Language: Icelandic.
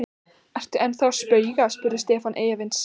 Ertu ennþá að spauga? spurði Stefán efins.